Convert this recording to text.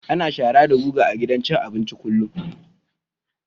Ana shara da guga a gidan abinci kullum